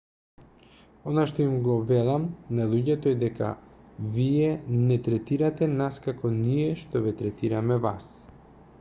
она што им го велам на луѓето е дека вие не третирате нас како ние што ве третираме вас